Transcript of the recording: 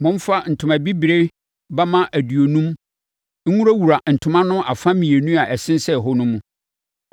Momfa ntoma bibire bamma aduonum nwurawura ntoma no afa mmienu a ɛsensɛn hɔ no mu.